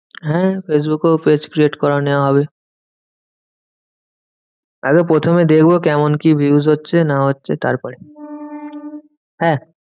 হ্যাঁ ফেসবুকেও page create করে নেওয়া হবে। আগে প্রথমে দেখবো কেমন কি views হচ্ছে না হচ্ছে তারপরে? হ্যাঁ